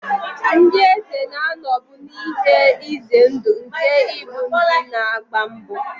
Ndị eze na-anọbu n'ihe ize ndụ nke ịbụ ndị na-agba mbọ.